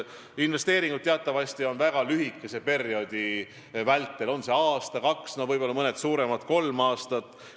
Investeeringud tehakse teatavasti väga lühikese perioodi vältel, aasta või kaks, võib-olla mõned suuremad kestavad kolm aastat.